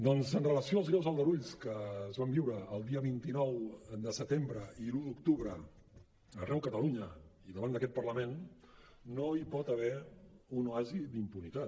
doncs en relació amb els greus aldarulls que es van viure el dia vint nou de setembre i l’un d’octubre arreu de catalunya i davant d’aquest parlament no hi pot haver un oasi d’impunitat